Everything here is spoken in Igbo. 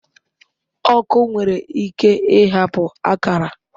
Ọkụ nwere ike ịhapụ akara